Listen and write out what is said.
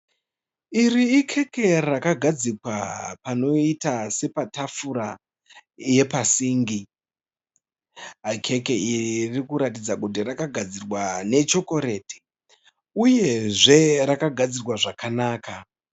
Iri ikeke rakagadzikwa panoita sepatafura yepasingi. Keke iri rikuratidza kuti rakagadzirwa nechokoreti. Uyezve rakagadzirwa zvakanaka.